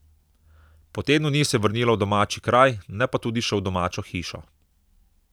Po tednu dni se je vrnila v domači kraj, ne pa tudi še v domačo hišo.